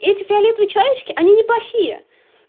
эти фиолетовые человечки они неплохие